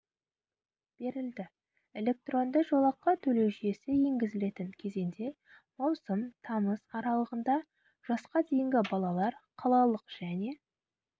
берілді электронды жолақы төлеу жүйесі енгізілетін кезеңде маусым тамыз аралығында жасқа дейінгі балалар қалалық және